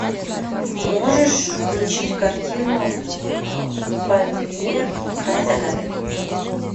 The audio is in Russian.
можешь включить картину памир край загадок